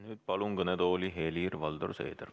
Nüüd palun kõnetooli Helir-Valdor Seederi.